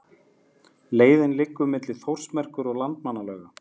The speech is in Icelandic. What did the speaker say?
Leiðin liggur milli Þórsmerkur og Landmannalauga.